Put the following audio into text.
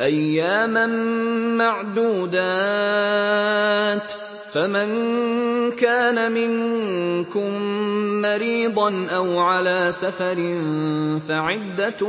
أَيَّامًا مَّعْدُودَاتٍ ۚ فَمَن كَانَ مِنكُم مَّرِيضًا أَوْ عَلَىٰ سَفَرٍ فَعِدَّةٌ